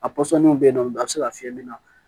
A pɔsɔninw bɛ yen nɔ a bɛ se ka fiyɛ nin na